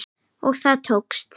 Og það tókst.